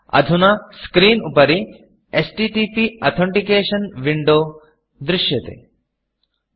अधुना screenस्क्रीन् उपरि एचटीटीपी अथेन्टिकेशन् Windowएच्टीटीपी अथेण्टिकेषन् विण्डो दृश्यते